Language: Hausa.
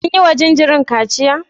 Sun yiwa jinjirin kaciya?